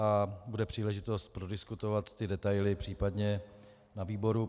A bude příležitost prodiskutovat ty detaily případně na výboru.